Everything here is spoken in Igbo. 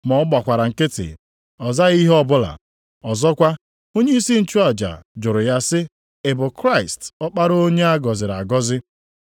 Ma ọ gbakwara nkịtị, ọ zaghị ihe ọbụla. Ọzọkwa, onyeisi nchụaja jụrụ ya sị, “Ị bụ Kraịst, Ọkpara Onye a gọziri agọzi?”